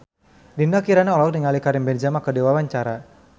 Dinda Kirana olohok ningali Karim Benzema keur diwawancara